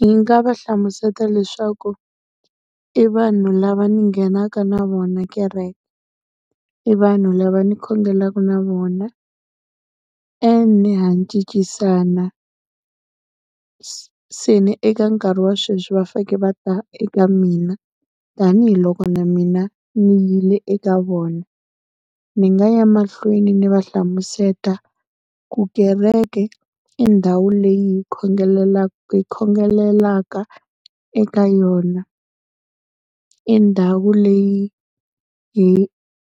Hi nga va hlamusela leswaku i vanhu lava ni nghenaka na vona kereke, i vanhu lava ni khongelaka na vona, and ha cincisana, se ni eka nkarhi wa sweswi va fanekele va ta eka mina tanihiloko na mina ni yile eka vona. Ni nga ya emahlweni ni va hlamuseta ku kereke i ndhawu leyi hi , hi khongelaka eka yona. I ndhawu leyi hi